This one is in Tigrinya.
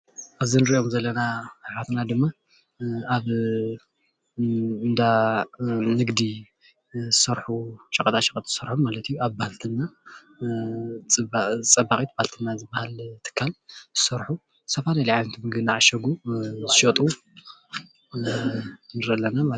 እዚ እንሪኦም ዘለና ኣሕዋትና ድማ ኣብ እንዳ ንግዲ ዝሰርሑ ሸቀጣሸቀጥ ዝሰርሑ ማለት እዩ፡፡ ኣብ ባልትና ፀባቂት ባልትና ዝባሃል ትካል ዝሰርሑ ዝተፈላለዩ ዓይነት ምግቢ እንዳዓሸጉ ዝሸጡ ንርኢ ኣለና ማለት እዩ፡፡